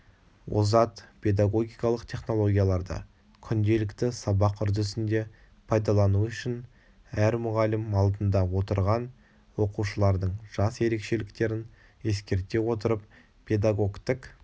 озат педагогикалық технологияларды күнделікті сабақ үрдісінде пайдалану үшін әр мұғалім алдында отырған оқушылардың жас ерекшеліктерін ескере отырып педагогтік